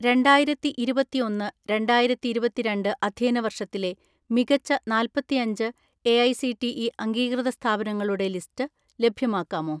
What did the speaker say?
രണ്ടായിരത്തിഇരുപത്തിഒന്ന് രണ്ടായിരത്തിഇരുപത്തിരണ്ട്‍ അധ്യയന വർഷത്തിലെ മികച്ച നാല്‍പത്തിഅഞ്ച് എഐസിടിഇ അംഗീകൃത സ്ഥാപനങ്ങളുടെ ലിസ്റ്റ് ലഭ്യമാക്കാമോ?